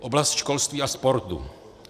Oblast školství a sportu.